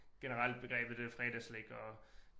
Generelt begrebet øh fredagsslik og